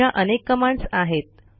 अशा अनेक कमांडस आहेत